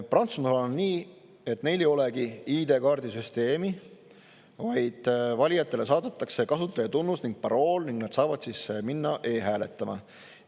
Prantsusmaal on nii, et ID-kaardiga süsteemi, vaid valijatele saadetakse kasutajatunnus ja parool ning nad saavad siis minna e-hääletama.